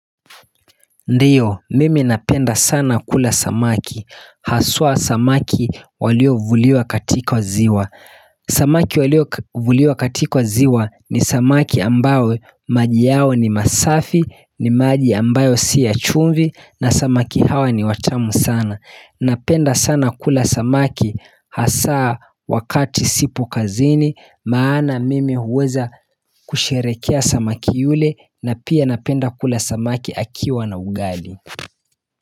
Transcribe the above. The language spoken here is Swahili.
Ndiyo mimi napenda sana kula samaki Haswa samaki waliovuliwa katika ziwa Samaki waliovuliwa katika ziwa ni samaki ambao maji yao ni masafi, ni maji ambayo si ya chumvi na samaki hawa ni watamu sana. Napenda sana kula samaki Hasaa wakati sipo kazini Maana mimi huweza kusherekea samaki yule na pia napenda kule samaki akiwa na ugali.